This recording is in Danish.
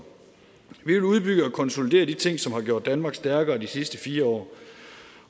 vi vil udbygge og konsolidere de ting som har gjort danmark stærkere i de sidste fire år